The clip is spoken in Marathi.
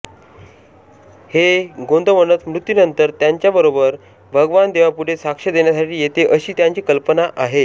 हे गोंदवणच मृत्यूनंतर त्यांच्याबरोबर भगवान देवापुढे साक्ष देण्यासाठी येते अशी त्यांची कल्पना आहे